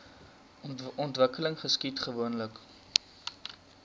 ontwikkeling geskied gewoonlik